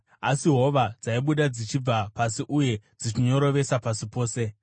asi hova dzaibuda dzichibva pasi uye dzichinyorovesa pasi pose,